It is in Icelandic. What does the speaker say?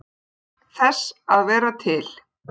Þess að vera til.